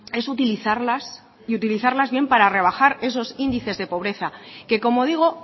es utilizarlas y utilizarlas bien para rebajar esos índices de pobreza que como digo